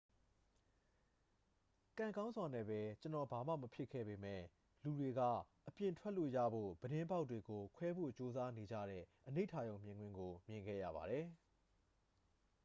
"""ကံကောင်းစွာနဲ့ပဲ ကျွန်တော် ဘာမှမဖြစ်ခဲ့ပေမယ့် ၊ လူတွေက အပြင်ထွက်လို့ရဖို့ ပြတင်းပေါက်တွေကိုခွဲဖို့ကြိုးစားနေကြတဲ့ အနိဋာရုံမြင်ကွင်းကို မြင်ခဲ့ရပါတယ်။